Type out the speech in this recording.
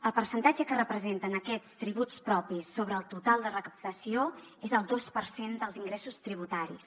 el percentatge que representen aquests tributs propis sobre el total de recaptació és el dos per cent dels ingressos tributaris